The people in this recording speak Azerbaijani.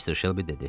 Mister Şelbi dedi.